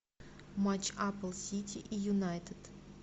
матч апл сити и юнайтед